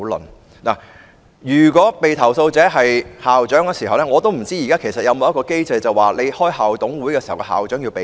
我不知道如果被投訴者是校長，現時有無機制規定召開校董會會議時，校長須避席。